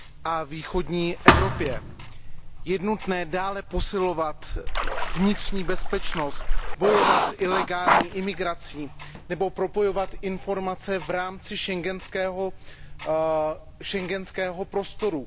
a ve východní Evropě. Je nutné dále posilovat vnitřní bezpečnost, bojovat s ilegální imigrací nebo propojovat informace v rámci schengenského prostoru.